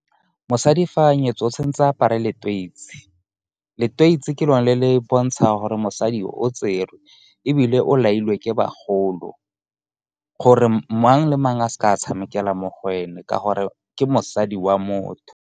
Mosadi fa nyetswe o tshwen'tse apare letoisi. Letoisi ke lone le le bontshang gore mosadi o tserwe ebile o lailwe ke bagolo. Gore mang le mang a seke a tshamekela mo go ene, ka gore ke mosadi wa motho.